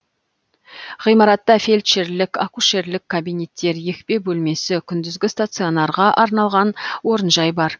ғимаратта фельдшерлік акушерлік кабинеттер екпе бөлмесі күндізгі стационарға арналған орынжай бар